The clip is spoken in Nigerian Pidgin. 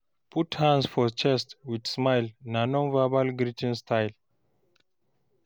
Put Hand for chest with smile na non-verbal greeting style